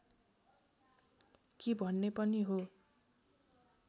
कि भन्ने पनि हो